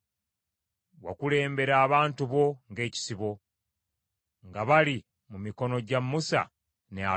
Wakulembera abantu bo ng’ekisibo, nga bali mu mikono gya Musa ne Alooni.